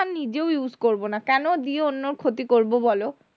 আর নিজেও use করবো না কেন দিয়ে অন্যের ক্ষতি করবো বলো?